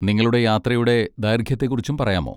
നിങ്ങളുടെ യാത്രയുടെ ദൈർഘ്യത്തെക്കുറിച്ചും പറയാമോ?